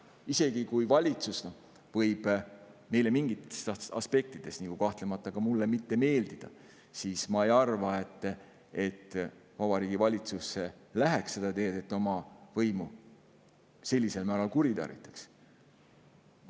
Isegi kui valitsus võib meile – kahtlemata ka mulle – mingites aspektides mitte meeldida, ma ei arva, et Vabariigi Valitsus läheks seda teed, et ta oma võimu sellisel määral kuritarvitaks.